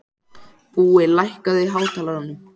Búi, lækkaðu í hátalaranum.